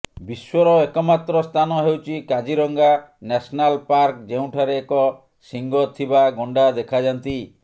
ବିଶ୍ବର ଏକମାତ୍ର ସ୍ଥାନ ହେଉଛି କାଜିରଙ୍ଗା ନ୍ୟାସନାଲ ପାର୍କ ଯେଉଁଠାରେ ଏକ ଶିଙ୍ଗ ଥିବା ଗଣ୍ଡା ଦେଖାଯାନ୍ତି